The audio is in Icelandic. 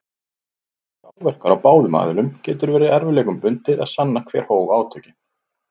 Séu áverkar á báðum aðilum getur verið erfiðleikum bundið að sanna hver hóf átökin.